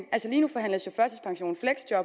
lige nu forhandles førtidspension